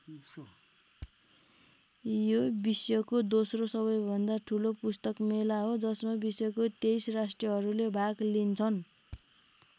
यो विश्वको दोस्रो सबैभन्दा ठूलो पुस्तक मेला हो जसमा विश्वको २३ राष्ट्रहरूले भाग लिन्छन्।